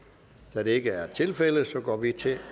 da det ikke er tilfældet går vi til